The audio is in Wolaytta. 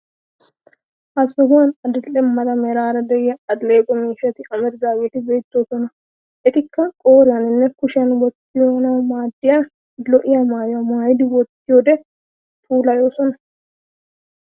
Ha sohuwan adil'e mala meraara de'iyaa alleeqo miishati amaridaageeti beettoosona. Etikka qooriyaninne kushiyan wottanawu maaddiya lo'iyaa maayuwaa maayidi wottiyoode puulayiosona